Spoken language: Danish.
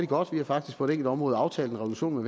godt vi har faktisk på et enkelt område aftalt en revolution